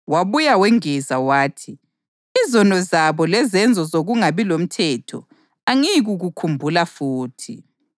“Lesi yisivumelwano engizasenza labo emva kwalesosikhathi, kutsho iNkosi. Ngizafaka imithetho yami ezinhliziyweni zabo ngiyilobe lasezingqondweni zabo.” + 10.16 UJeremiya 31.33